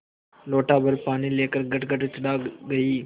लोटाभर पानी लेकर गटगट चढ़ा गई